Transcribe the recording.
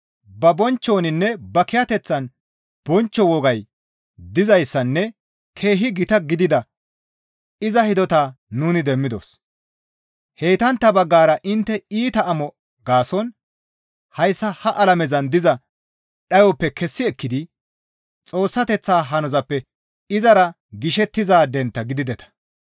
Ba bonchchoninne ba kiyateththan bonchcho wogay dizayssanne keehi gita gidida iza hidotaa nuni demmidos; heytantta baggara intte iita amo gaason hayssa ha alamezan diza dhayoppe kessi ekkidi Xoossateththa hanozappe izara gishettizaadentta gidideta.